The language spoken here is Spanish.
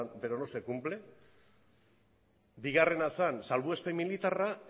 pero no se cumple bigarrena zen salbuespen militarra